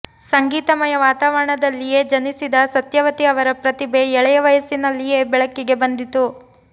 ಸಂಗೀತಮಯ ವಾತಾವರಣದಲ್ಲಿಯೇ ಜನಿಸಿದ ಸತ್ಯವತಿ ಅವರ ಪ್ರತಿಭೆ ಎಳೆಯ ವಯಸ್ಸಿನಲ್ಲಿಯೇ ಬೆಳಕಿಗೆ ಬಂದಿತು